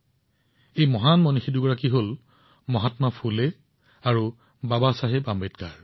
এয়া হৈছে মহান ব্যক্তিত্ব মহাত্মা ফুলে আৰু বাবাচাহেব আম্বেদকাৰ